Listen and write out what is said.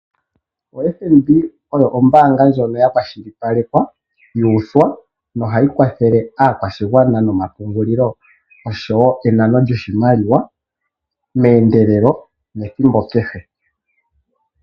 OFNB oyo ombaanga ndjono ya kwashilipalekwa, yuuthwa noha yi kwathele aakwashigwana noma pungulilo osho woo enano djoshimaliwa meendelelo nethimbo kehe.